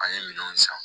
An ye minɛnw san